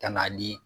Ka na ni